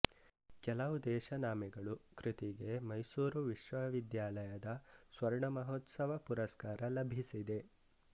ಕೆಲವು ದೇಶನಾಮೆಗಳು ಕೃತಿಗೆ ಮೈಸೂರು ವಿಶ್ವವಿದ್ಯಾಲಯದ ಸ್ವರ್ಣಮಹೋತ್ಸವ ಪುರಸ್ಕಾರ ಲಭಿಸಿದೆ